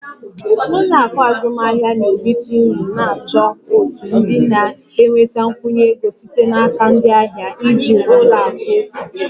Ụlọ akụ azụmahịa na-erite uru na-achọ òtù ndị na-enweta nkwụnye ego site n'aka ndị ahịa e.g ụlọ akụ otu